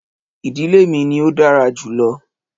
Ìdílé mi ni ò dára jùlọ